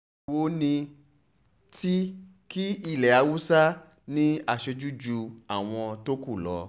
èwo ni ti kí ilé haúsá ní aṣojú ju àwọn tó kù lọ